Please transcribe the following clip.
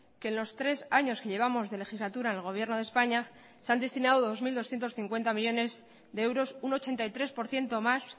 que en los tres años que llevamos de legislatura en el gobierno de españa se han destinado dos mil doscientos cincuenta millónes de euros un ochenta y tres por ciento más